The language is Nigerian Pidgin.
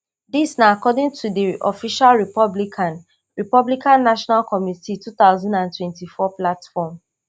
dis na according to di official republican republican national committee two thousand and twenty-four platform